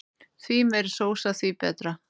Því meiri sósa því betra.